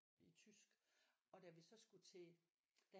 I tysk og da vi så skulle til da